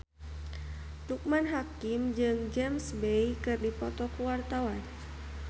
Loekman Hakim jeung James Bay keur dipoto ku wartawan